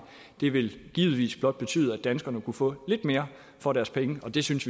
det ville givetvis blot betyde at danskerne kunne få lidt mere for deres penge og vi synes